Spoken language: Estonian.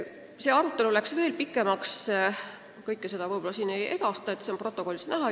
Meie arutelu läks tegelikult veel pikemaks, aga kõike ma siin ei edasta, arutelu sisu on protokollist näha.